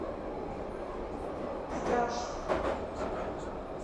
страж